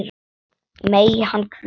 Megi hann hvíla í friði.